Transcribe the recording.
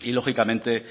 y lógicamente